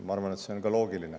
Ma arvan, et see on ka loogiline.